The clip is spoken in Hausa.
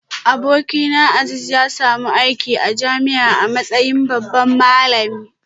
Abokina Azeez ya samu aiki a jami'a a matsayin babban malami